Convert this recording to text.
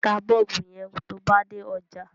Ta Bọ́ọ̀bù yẹn tó ba dé ọjà.